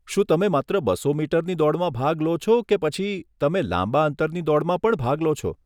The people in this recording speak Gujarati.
શું તમે માત્ર બસો મીટરની દોડમાં ભાગ લો છો કે પછી તમે લાંબા અંતરની દોડમાં પણ ભાગ લો છો?